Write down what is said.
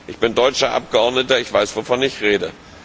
Ich bin deutscher Abgeordneter, ich weiß wovon ich rede.